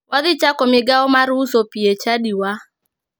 Wadhi chako migao mar uso pii e chadiwa